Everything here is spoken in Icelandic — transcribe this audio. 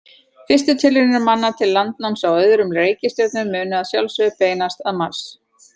Fyrstu tilraunir manna til landnáms á öðrum reikistjörnum munu að sjálfsögðu beinast að Mars.